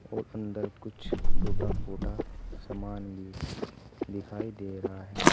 और अंदर कुछ टूटा फूटा सामान भी दिखाई दे रहा है।